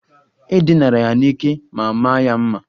E dinara ya n'ike ma maa ya mma.